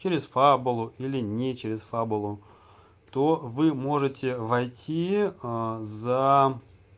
через фабулу или не через фабулу то вы можете войти за